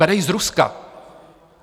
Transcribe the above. Bere ji z Ruska.